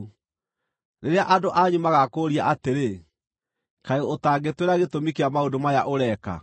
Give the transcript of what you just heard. “Rĩrĩa andũ anyu magaakũũria atĩrĩ, ‘Kaĩ ũtangĩtwĩra gĩtũmi kĩa maũndũ maya ũreka?’